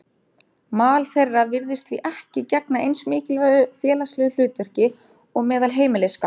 Mal þeirra virðist því ekki gegna eins mikilvægu félagslegu hlutverki og meðal heimiliskatta.